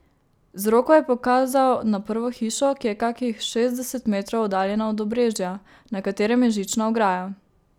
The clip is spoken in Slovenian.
Z roko je pokazal na prvo hišo, ki je kakih šestdeset metrov oddaljena od obrežja, na katerem je žična ograja.